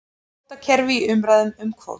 Kvótakerfi í umræðum um kvóta